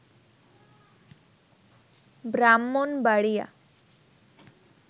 Brahmanbaria